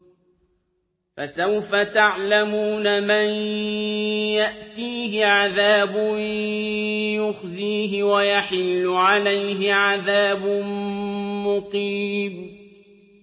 فَسَوْفَ تَعْلَمُونَ مَن يَأْتِيهِ عَذَابٌ يُخْزِيهِ وَيَحِلُّ عَلَيْهِ عَذَابٌ مُّقِيمٌ